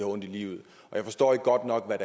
ondt i livet og jeg forstår ikke godt nok hvad